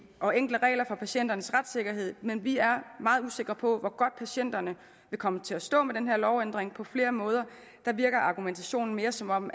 og enkle regler for patienternes retssikkerhed men vi er meget usikre på hvor godt patienterne vil komme til at stå med den her lovændring på flere måder virker argumentationen mere som om